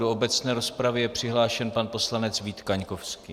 Do obecné rozpravy je přihlášen pan poslanec Vít Kaňkovský.